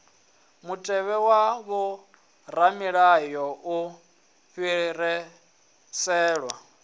mutevhe wa vhoramilayo u fhiriselwa